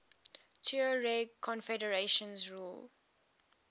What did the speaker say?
tuareg confederations ruled